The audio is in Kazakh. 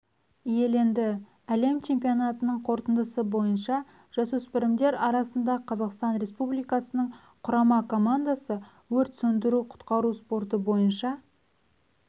иеленді әлем чемпионатының қорытындысы бойынша жасөспірімдер арасында қазақстан республикасының құрама командасы өрт сөндіру-құтқару спорты бойынша